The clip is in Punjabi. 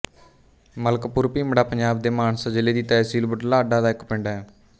ਮਲਕਪੁਰ ਭੀਮੜਾ ਪੰਜਾਬ ਦੇ ਮਾਨਸਾ ਜ਼ਿਲ੍ਹੇ ਦੀ ਤਹਿਸੀਲ ਬੁਢਲਾਡਾ ਦਾ ਇੱਕ ਪਿੰਡ ਹੈ